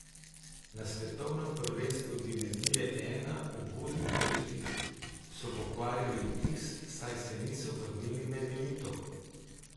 Na svetovnem prvenstvu divizije I v Budimpešti so pokvarili vtis, saj se niso vrnili med elito.